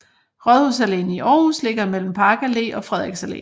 Rådhuspladsen i Aarhus ligger mellem Park Allé og Frederiks Allé